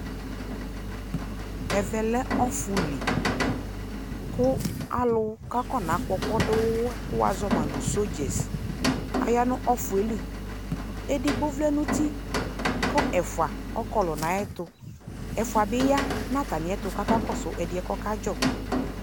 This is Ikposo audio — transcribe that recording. Ɛvɛ lɛ ɔfu lι kʋ alʋ kʋ afɔnakkɔkɔduwa kʋ wazɔma nʋ sodzes aya nʋ ɔfu yɛ lι Edigbo vlɛ nʋ uti kʋ ɛfua ɔkɔlɔ nʋ ayʋɛtʋ, ɛfua bi ya nʋ atamiɛtʋ kʋ ɔkakɔsu ɛdiɛ bua kʋ ɔkadzɔ